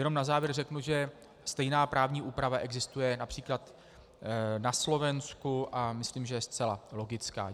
Jenom na závěr řeknu, že stejná právní úprava existuje například na Slovensku, a myslím, že je zcela logická.